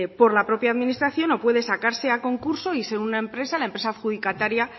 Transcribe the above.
por la propia administración o puede sacarse a concurso y ser una empresa la empresa adjudicataria